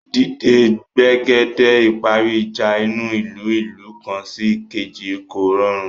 Dídé gbègede ìparí ìjà inú ìlú/ ìlú kan sí èkejì kò rọrùn